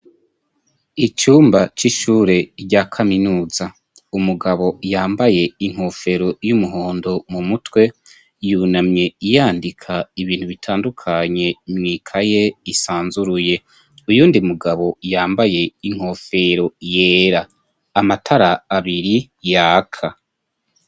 Icumba c'ishure rya kaminuza, umugabo yambaye inkofero y'umuhondo mu mutwe yunamye yandika ibintu bitandukanye mwikaye isanzuruye, uyundi mugabo yambaye inkofero yera, amatara abiri yaka.